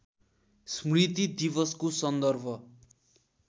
स्मृति दिवसको सन्दर्भ